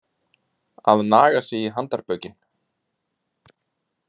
Að naga sig í handarbökin